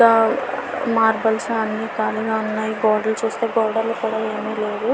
Marbles అన్నీ కాళిగా ఉన్నాయి గోడలు చుస్తే గోడలు కూడా ఏమి లేవు.